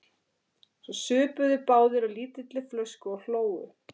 Svo supu þeir báðir á lítilli flösku og hlógu.